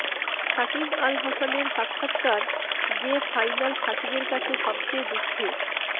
সাকিব আল হাসানের সাক্ষাৎকার যে ফাইনাল সাকিবের কাছে সবচেয়ে দুঃখের